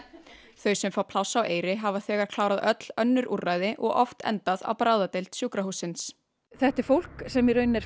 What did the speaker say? þau sem fá pláss á Eyri hafa þegar klárað öll önnur úrræði og oft endað á bráðadeild sjúkrahússins þetta er fólk sem í rauninni er